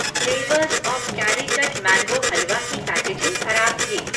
Flavours of Calicut mango halwa की packaging खराब थी।